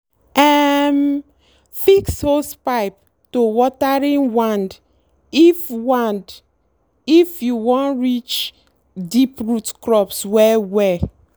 um fix hosepipe to watering wand if wand if you wan reach deep root crops well well.